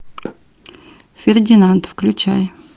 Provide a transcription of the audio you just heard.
фердинанд включай